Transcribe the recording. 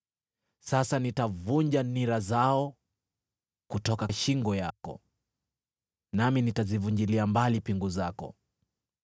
Sasa nitavunja nira zao kutoka shingo yako, nami nitazivunjilia mbali pingu zako.”